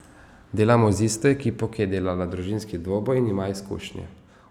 Delamo z isto ekipo, ki je delala Družinski dvoboj in ima izkušnje.